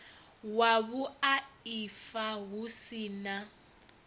wa vhuaifa hu si na